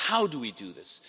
How do we do this?